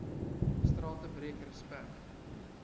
strate breek respek